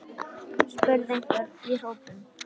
spurði einhver í hópnum.